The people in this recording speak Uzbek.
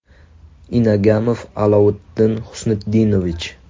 Inagamov Alovitdin Xusnitdinovich.